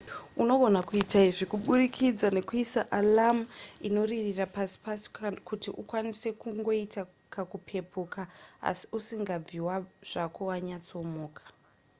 unogona kuita izvi kuburikidza nekuisa alarm inoririra pasi pasi kuti ukwanise kungoita kakupepuka asi usingabvi zvako wanyatsomuka